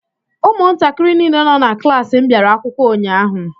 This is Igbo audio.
Ụmụntakịrị niile nọ na klaasị m bịara akwụkwọ ụnyaahụ.